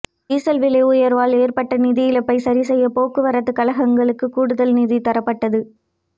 diesel விலை உயர்வால் ஏற்பட்ட நிதி இழப்பை சரி செய்ய போக்குவரத்து கழகங்களுக்கு கூடுதல் நிதி தரப்பட்டது